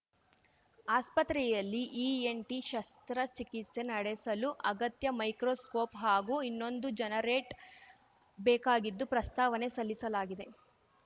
ಆಸ್ಪತ್ರೆಯಲ್ಲಿ ಇಎನ್‌ಟಿ ಶಸ್ತ್ರಚಿಕಿತ್ಸೆ ನಡೆಸಲು ಅಗತ್ಯ ಮೈಕ್ರೋಸ್ಕೋಪ್‌ ಹಾಗೂ ಇನ್ನೊಂದು ಜನರೇಟ್ ಬೇಕಾಗಿದ್ದು ಪ್ರಸ್ತಾವನೆ ಸಲ್ಲಿಸಲಾಗಿದೆ